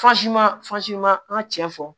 Fansi masi ma an ka cɛ fɔ